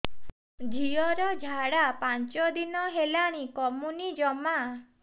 ଝିଅର ଝାଡା ପାଞ୍ଚ ଦିନ ହେଲାଣି କମୁନି ଜମା